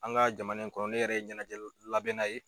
An ka jamana in kɔrɔ ne yɛrɛ ye ɲɛnajɛli labɛnna ye.